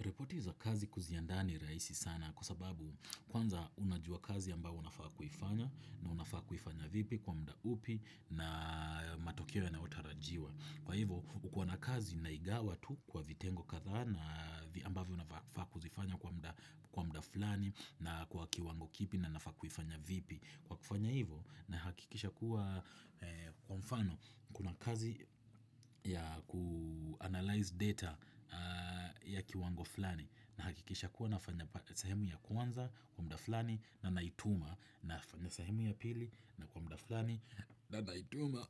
Ripoti za kazi kuziandaa ni rahisi sana kwa sababu kwanza unajua kazi ambayo unafaa kuifanya na unafaa kuifanya vipi kwa muda upi na matokeo yanayotarajiwa. Kwa hivyo, ukiwa na kazi na igawa tu kwa vitengo kadhaa na ambavyo unafaa kuzifanya kwa mda fulani na kwa kiwango kipi na unafaa kufanya vipi. Kwa kufanya hivo nahakikisha kuwa kwa mfano kuna kazi ya ku-analyze data ya kiwango fulani, Nahakikisha kuwa nafanya sahemu ya kwanza kwa muda fulani na naituma na sahemu ya pili na kwa muda fulani na naituma.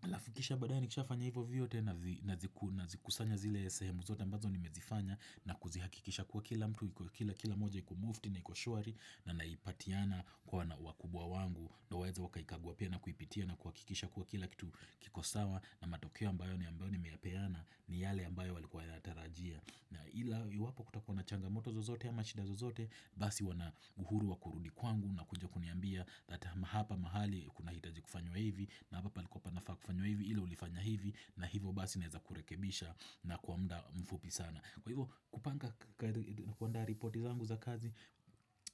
Halafu kisha badaye nikisha fanya ivo vyote na zikusanya zile sehemu zote ambazo nimezifanya na kuzihakikisha kuwa kila mtu, kila moja iko mufti na iko shwari na naipatiana kwa wakubwa wangu ndo waeze wakaikagua pia na kuipitia na kuhakikisha kuwa kila kitu kiko sawa na matokeo ambayo ni ambayo nimeyapeana ni yale ambayo walikuwa wayatarajia na ila iwapo kutakuwa na changamoto zozote ama shida zozote basi wana uhuru wa kurudi kwangu na kuja kuniambia na hapa mahali kuna hitaji kufanywa hivi na hapa palikuwa panafaa kufanywa hivi ila ulifanya hivi na hivo basi naeza kurekebisha na kwa muda mfupi sana Kwa hivyo kupanga kuandaa ripoti zangu za kazi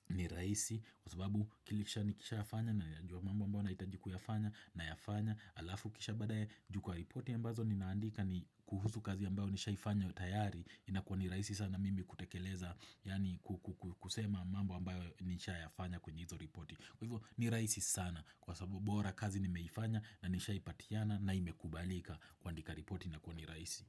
ni rahisi Kwa sababu kilisha nikishafanya nayajua mambo ambayo nahitaji kuyafanya, nayafanya halafu kisha badaye juu kwa ripoti ambazo ni naandika ni kuhusu kazi ambayo nishaifanya tayari inakuwa ni rahisi sana mimi kutekeleza yani kusema mambo ambayo nisha yafanya kwenye hizo ripoti Kwa hivyo ni rahisi sana kwa sababu bora kazi nimeifanya na nishaipatiana na imekubalika kuandika ripoti inakuwa ni rahisi.